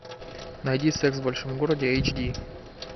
найди секс в большом городе эйч ди